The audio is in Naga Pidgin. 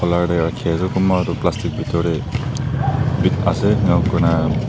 kunba toh plastic bithor teh big ase ena koina--